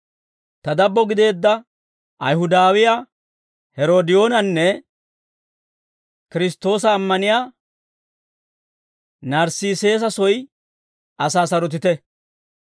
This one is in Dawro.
Ta dabbo gideedda Ayihudawiyaa Heeroodiyoonanne Kiristtoosa ammaniyaa Narssiisesa soy asaa sarotite.